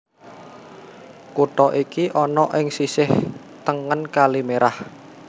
Kutha iki ana ing sisih tengen Kali Merah